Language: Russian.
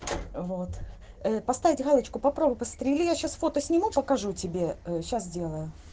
вот поставить галочку попробуй посмотрели я сейчас фото сниму покажу тебе сейчас делаю